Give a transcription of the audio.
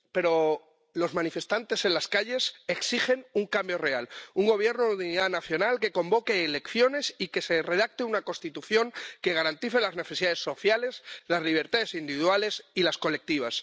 Pero los manifestantes en las calles exigen un cambio real, un Gobierno de unidad nacional que convoque elecciones y que se redacte una Constitución que garantice las necesidades sociales, las libertades individuales y las colectivas.